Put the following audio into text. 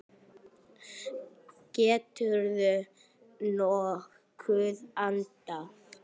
Geturðu nokkuð andað?